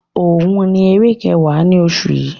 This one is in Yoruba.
Òun ni eré kẹwa ni oṣù yi.